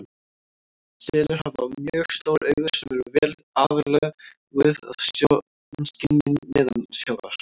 Selir hafa mjög stór augu sem eru vel aðlöguð að sjónskynjun neðansjávar.